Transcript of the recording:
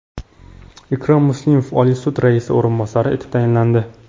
Ikrom Muslimov Oliy sud raisi o‘rinbosari etib tayinlandi.